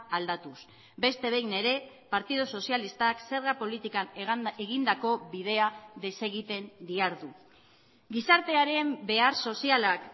aldatuz beste behin ere partidu sozialistak zerga politikan egindako bidea desegiten dihardu gizartearen behar sozialak